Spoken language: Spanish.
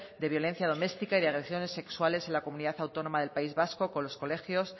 de violencia doméstica y de agresiones sexuales en la comunidad autónoma del país vasco con los colegios